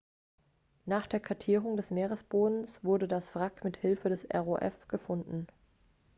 nach der kartierung des meeresbodens wurde das wrack mithilfe eines rov gefunden